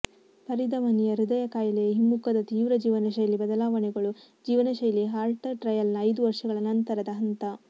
ಪರಿಧಮನಿಯ ಹೃದಯ ಕಾಯಿಲೆಯ ಹಿಮ್ಮುಖದ ತೀವ್ರ ಜೀವನಶೈಲಿ ಬದಲಾವಣೆಗಳು ಜೀವನಶೈಲಿ ಹಾರ್ಟ್ ಟ್ರಯಲ್ನ ಐದು ವರ್ಷಗಳ ನಂತರದ ಹಂತ